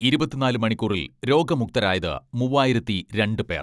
ഇരുപത്തിനാല് മണിക്കൂറിൽ രോഗമുക്തരായത് മുവ്വായിരത്തി രണ്ട് പേർ.